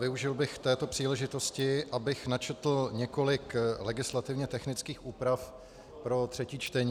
Využil bych této příležitosti, abych načetl několik legislativně technických úprav pro třetí čtení.